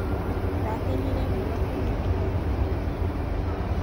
ndakenire mũno kũmuona